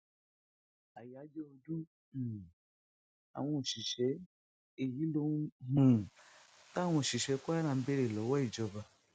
àyáájọ ọdún um àwọn òṣìṣẹ èyí lohun um táwọn òṣìṣẹ kwara ń béèrè lọwọ ìjọba